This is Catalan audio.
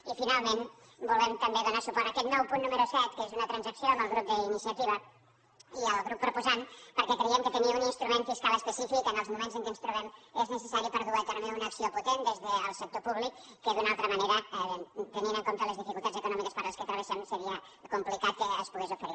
i finalment volem també donar suport a aquest nou punt número set que és una transacció amb el grup d’iniciativa i el grup proposant perquè creiem que tenir un instrument fiscal específic en els moments en què ens trobem és necessari per dur a terme una acció potent des del sector públic que d’una altra manera tenint en compte les dificultats econòmiques per les quals travessem seria complicat que es pogués oferir